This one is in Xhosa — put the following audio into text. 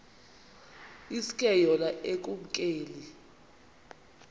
iske yona ekumkeni